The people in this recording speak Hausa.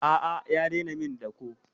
A'a ya daina min dako.